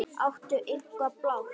Áttu eitthvað blátt?